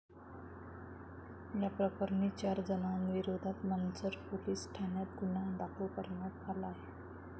याप्रकरणी चार जणांविरोधात मंचर पोलीस ठाण्यात गुन्हा दाखल करण्यात आला आहे.